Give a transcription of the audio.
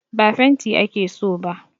Ba fenti ake so ba